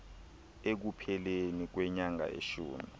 ekupheleni kwenyanga yeshumi